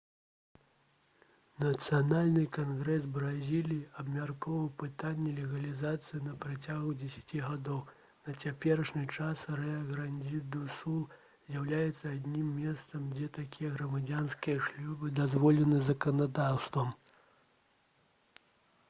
нацыянальны кангрэс бразіліі абмяркоўваў пытанне легалізацыі на працягу 10 гадоў на цяперашні час рыа-грандзі-ду-сул з'яўляецца адзіным месцам дзе такія грамадзянскія шлюбы дазволены заканадаўствам